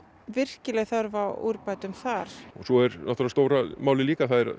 virkileg þörf á úrbótum þar svo er stóra málið líka það er